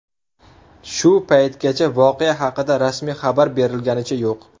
Shu paytgacha voqea haqida rasmiy xabar berilganicha yo‘q.